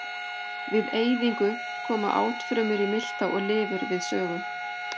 Við eyðingu koma átfrumur í milta og lifur við sögu.